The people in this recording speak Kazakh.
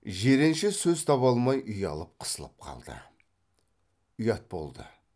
жиренше сөз таба алмай ұялып қысылып қалды ұят болды